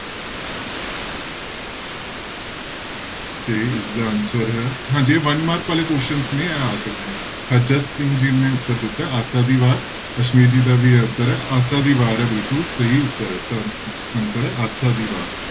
ਤੇ ਇਸਦਾ answer ਹੈ ਹਾਂਜੀ ਇਹ one mark ਵਾਲੇ questions ਨੇ ਇਹ ਆ ਸਕਦੇ ਨੇ, ਹਜ਼ਰਤ ਸਿੰਘ ਜੀ ਨੇ ਉੱਤਰ ਦਿੱਤਾ ਹੈ ਆਸਾ ਦੀ ਵਾਰ, ਅਸਮੀਤ ਜੀ ਦਾ ਵੀ ਇਹ ਉੱਤਰ ਹੈ ਆਸਾ ਦੀ ਵਾਰ ਹੈ ਬਿਲਕੁਲ ਸਹੀ ਉੱਤਰ ਹੈ ਇਸਦਾ answer ਹੈ ਆਸਾ ਦੀ ਵਾਰ।